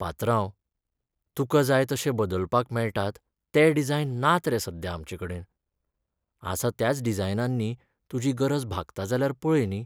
पात्रांव, तुका जाय तशे बदलपाक मेळटात ते डिझायन नात रे सध्या आमचेकडेन. आसा त्याच डिझायनांनी तुजी गरज भागता जाल्यार पळय न्ही.